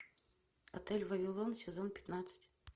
отель вавилон сезон пятнадцать